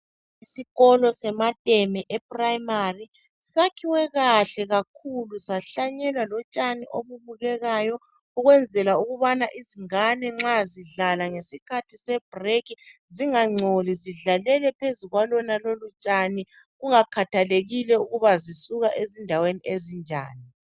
Isikolo semateme e primary sakhiwe kahle kakhulu sahlanyelwa lotshani obubukekayo ukwenzela ukubana izingane nxa zidlala ngesikhathi se break zingangcoli zidlalele phezu kwalonalolu tshani kungakhathalekile ukuthi zisuka ezindaweni ezinjani